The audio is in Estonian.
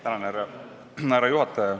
Tänan, härra juhataja!